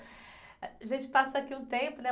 A gente passa aqui um tempo, né?